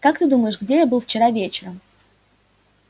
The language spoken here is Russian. как ты думаешь где я был вчера вечером